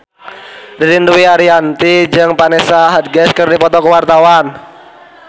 Ririn Dwi Ariyanti jeung Vanessa Hudgens keur dipoto ku wartawan